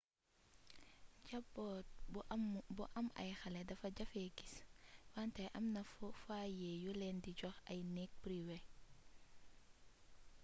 jamboot bu am ay xalé defa jafé guiss wanté amna foyé yulen di jox ay negg priwé